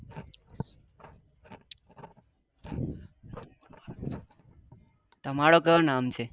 તમારો કયો નામ છે?